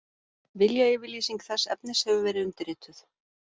Viljayfirlýsing þess efnis hefur verið undirrituð